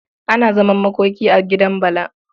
Ana zaman makoki a gidan Bala.